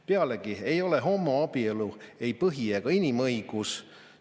Pealegi ei ole homoabielu ei põhi‑ ega inimõigus.